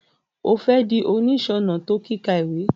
O fẹ di oniṣọnà to kika ìwé?